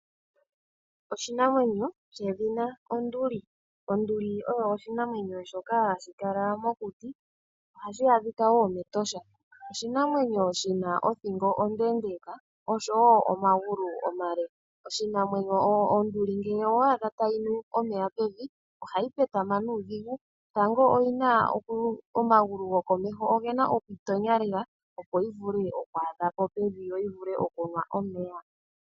Oshinamwenyo shedhina onduli. Onduli osho oshinamwenyo shoka hashi kala mokuti ohashi adhika woo mEtosha .oshinamwenyo shina othingo ondeendeka oshowo omagulu omale . Onduli ngele owa adha tayinu omeya pevi ohayi petama nuudhigu, tango omagulu go komeho ogena oku itonya lela opo yivule oku adhapo pevi yo yivule okunwa omeya.